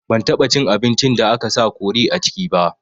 Ban taɓa cin abincin da aka sa kori a ciki ba